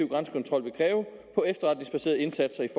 grænsekontrol vil kræve på efterretningsbaserede indsatser i